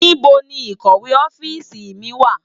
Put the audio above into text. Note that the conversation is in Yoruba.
NIbó ni ikòwé òfisi mi wá?